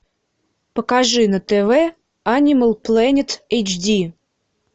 покажи на тв анимал плэнет эйч ди